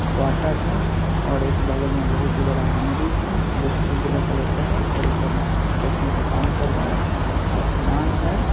Quarter है और एक बगल में बहुत ही बड़ा मंदिर है जो की उजला कलर का है और ऊपर कंस्ट्रक्शन का काम चल रहा है आसमान है।